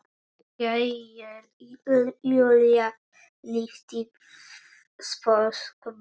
Jæja, Júlía lyfti sposk brúnum.